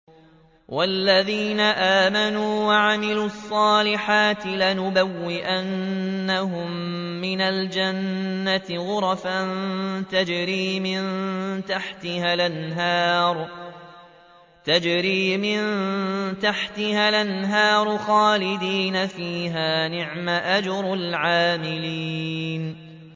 وَالَّذِينَ آمَنُوا وَعَمِلُوا الصَّالِحَاتِ لَنُبَوِّئَنَّهُم مِّنَ الْجَنَّةِ غُرَفًا تَجْرِي مِن تَحْتِهَا الْأَنْهَارُ خَالِدِينَ فِيهَا ۚ نِعْمَ أَجْرُ الْعَامِلِينَ